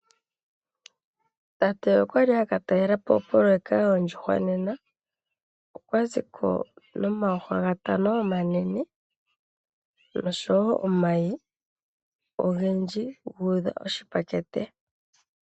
Tate okwali aka talelapo opoloyeka yoondjuhwa nena. Okwa ziko nomandjuhwa gatano omanene noshowo omayi ogendji gu udha oshipakete.